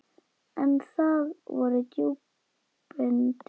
En það voru djúpin dimmu.